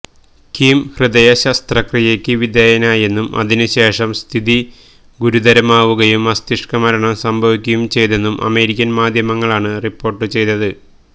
Kim ഹൃദയ ശസ്ത്രക്രിയയ്ക്ക് വിധേയനായെന്നും ഇതിനു ശേഷം സ്ഥിതി ഗുരുതരമാവുകയും മസ്തിഷ്കമരണം സംഭവിക്കുകയും ചെയ്തെന്നും അമേരിക്കന് മാധ്യമങ്ങളാണ് റിപ്പോര്ട്ടു ചെയ്തത്